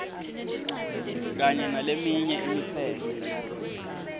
kanye naleminye imitsetfo